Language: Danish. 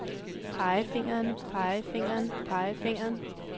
pegefingeren pegefingeren pegefingeren